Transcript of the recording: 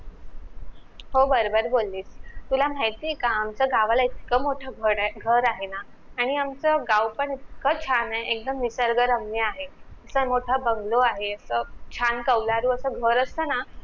हो बरोबर बोलीस, तुला माहितीये का आमचं गावाला इतक मोठं घरए घर आहेना आणि आम्हच गाव पण इतकं छान आहे एकदम निसर्गरम्य आहे इतका मोठा bungalow आहे अस छान कवलारू अस घर असत ना